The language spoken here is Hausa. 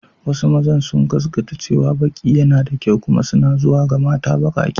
Wasu mazan sun gaskata cewa baki yana da kyau kuma suna zuwa ga mata bakake.